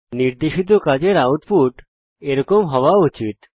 নির্দেশিত কাজের আউটপুট এরকম হওয়া উচিত